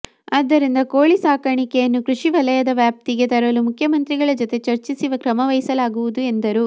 ಆದ್ದರಿಂದ ಕೋಳಿ ಸಾಕಾಣಿಕೆಯನ್ನು ಕೃಷಿ ವಲಯದ ವ್ಯಾಪ್ತಿಗೆ ತರಲು ಮುಖ್ಯಮಂತ್ರಿಗಳ ಜತೆ ಚರ್ಚಿಸಿ ಕ್ರಮವಹಿಸಲಾಗುವುದು ಎಂದರು